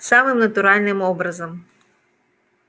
самым натуральным образом